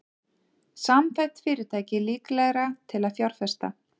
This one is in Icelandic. Samþætt fyrirtæki líklegra til að fjárfesta